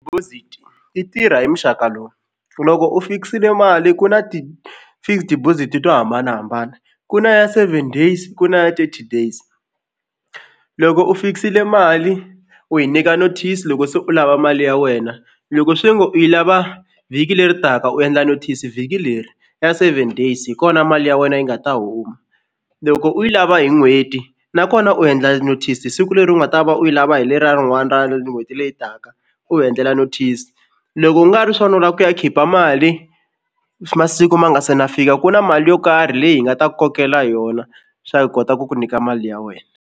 Deposit yi tirha hi muxaka lowu loko u fikisile mali ku na ti-fixed deposit to hambanahambana ku na ya seven days ku na thirty days. Loko u fikisile mali u yi nyika notice loko se u lava mali ya wena loko swi ngo u yi lava vhiki leri taka u endla notice vhiki leri ya seven days hi kona mali ya wena yi nga ta huma. Loko u yi lava hi n'hweti nakona u endla notice siku leri u nga ta va u yi lava hi leriya rin'wana ra n'hweti leyi taka u hi endlela notice. Loko ku nga ri swona u la ku ya khipa mali masiku ma nga se na fika ku na mali yo karhi leyi hi nga ta ku kokela yona swa hi kota ku ku nyika mali ya wena.